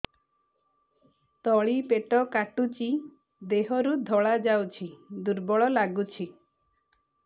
ତଳି ପେଟ କାଟୁଚି ଦେହରୁ ଧଳା ଯାଉଛି ଦୁର୍ବଳ ଲାଗୁଛି